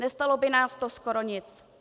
Nestálo by nás to skoro nic.